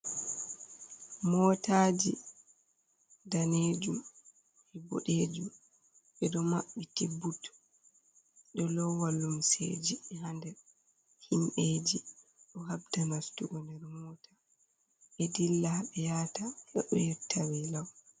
Mootaji, danejum, boɗejum. Ɓe ɗo mabbiti but, ɗo lowa lumseji ha nder. Himɓeji ɗo habda nastugo nder mota, ɓe dilla ha ɓe yaata, heɓa yotta be lau.